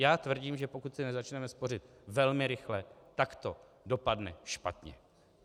Já tvrdím, že pokud si nezačneme spořit velmi rychle, tak to dopadne špatně.